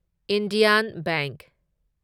Indian bank